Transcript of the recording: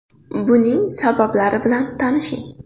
Buning sabablari bilan tanishing.